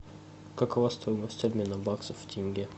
какова стоимость обмена баксов в тенге